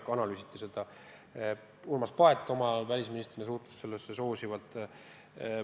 Seda analüüsiti ja ka Urmas Paet välisministrina suhtus sellesse soosivalt.